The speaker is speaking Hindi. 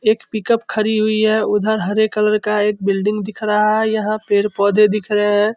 एक पिकअप खड़ी हुई है उधर हरे कलर का एक बिल्डिंग दिख रहा है यहां पेड़-पौधे दिख रहे है।